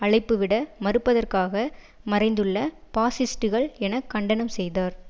அழைப்புவிட மறுப்பதற்காக மறைந்துள்ள பாசிஸ்டுகள் என கண்டனம் செய்தார்